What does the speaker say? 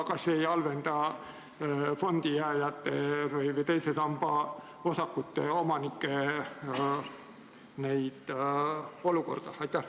Kas see ei halvenda fondi jääjate, teise samba osakute omanike olukorda?